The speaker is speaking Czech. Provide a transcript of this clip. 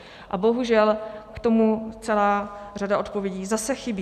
A bohužel k tomu celá řada odpovědí zase chybí.